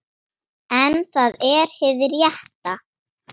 En það er hið rétta.